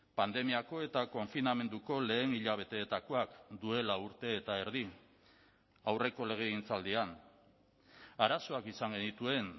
pandemiako eta konfinamenduko lehen hilabeteetakoak duela urte eta erdi aurreko legegintzaldian arazoak izan genituen